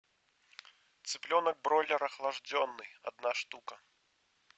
цыпленок бройлер охлажденный одна штука